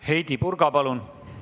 Heidy Purga, palun!